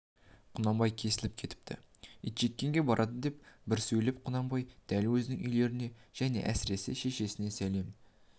құнанбай кесіліп кетіпті итжеккенге барады деп бір сөйлеп құнанбай дәл өзінің үйлеріне және әсіресе шешесіне сәлем